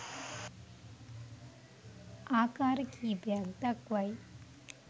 ආකාර කීපයක් දක්වයි